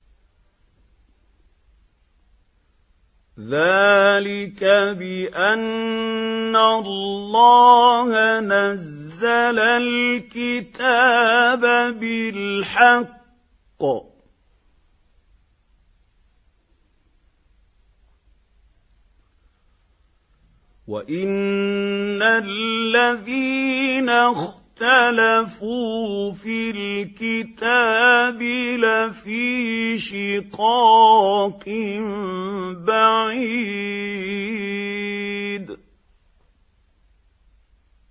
ذَٰلِكَ بِأَنَّ اللَّهَ نَزَّلَ الْكِتَابَ بِالْحَقِّ ۗ وَإِنَّ الَّذِينَ اخْتَلَفُوا فِي الْكِتَابِ لَفِي شِقَاقٍ بَعِيدٍ